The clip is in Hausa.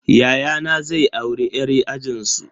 Yayana zai auri yar ajinsu.